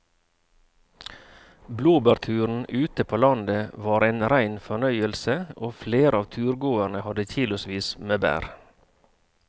Blåbærturen ute på landet var en rein fornøyelse og flere av turgåerene hadde kilosvis med bær.